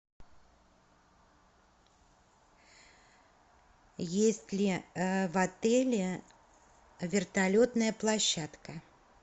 есть ли в отеле вертолетная площадка